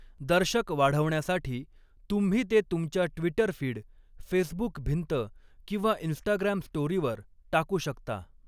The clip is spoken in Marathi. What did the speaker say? दर्शक वाढवण्यासाठी तुम्ही ते तुमच्या ट्विटर फीड, फेसबुक भिंत किंवा इंस्टाग्राम स्टोरीवर टाकू शकता.